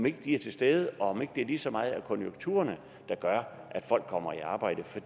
ikke er til stede og om det ikke lige så meget er konjunkturerne der gør at folk kommer i arbejde for